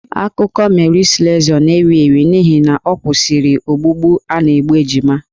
Akụkọ Mary Slessor na-ewi ewi n'ihi na ọ kwụsịrị ogbugbu a na-egbu ejima.